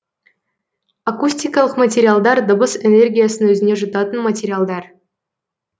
акустикалық материалдар дыбыс энергиясын өзіне жұтатын материалдар